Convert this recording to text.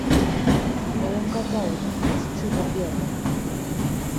в твоем каталоге есть чудо берна